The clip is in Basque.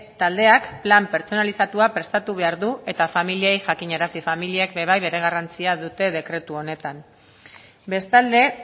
taldeak plan pertsonalizatua prestatu behar dut eta familiei jakinarazi familiek ere bai bere garrantzia dute dekretu honetan bestalde